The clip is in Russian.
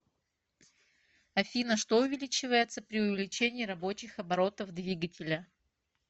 афина что увеличивается при увеличении рабочих оборотов двигателя